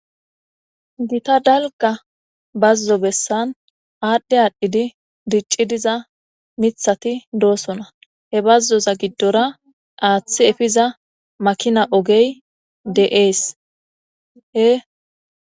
Gita dalga bazzo bessan aadhdhe aadhdhidi dicci diza mithati doosona he bazzoza giddora aaththi efiza makina ogey de'ees hee.